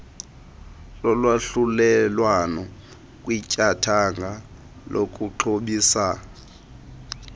lolwahlulelwano kwityathanga lokuxhobisa